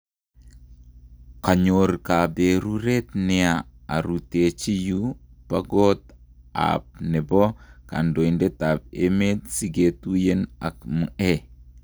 Kayoru kaperuret nia arutechi yuu pa kot ap nepo kandoitet ap emet si ketuyen ak Mhe.